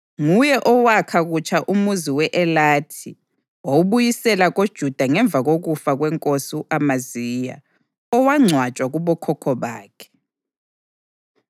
Nguye owakha kutsha umuzi we-Elathi wawubuyisela koJuda ngemva kokufa kwenkosi u-Amaziya owangcwatshwa kubokhokho bakhe.